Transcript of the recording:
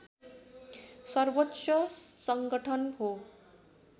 सर्वोच्च सङ्गठन हो